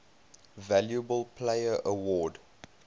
valuable player award